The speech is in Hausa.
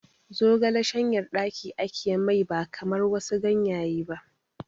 Zogale shanyan ɗaki ake mai ba kamar wasu ganyaye ba